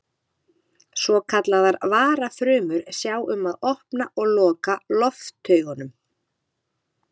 Svokallaðar varafrumur sjá um að opna og loka loftaugunum.